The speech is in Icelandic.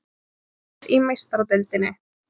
Dregið í Meistaradeildinni